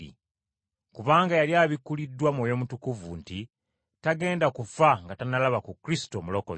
Kubanga yali abikkuliddwa Mwoyo Mutukuvu nti tagenda kufa nga tannalaba ku Kristo, Omulokozi.